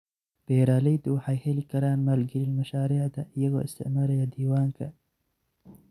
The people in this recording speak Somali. Beeraleydu waxay heli karaan maalgelin mashaariicda iyagoo isticmaalaya diiwaanka.